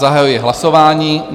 Zahajuji hlasování.